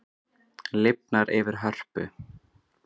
Lifnar yfir Hörpu